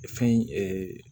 Fɛn